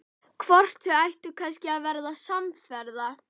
Hvort þau ættu kannski að verða samferða?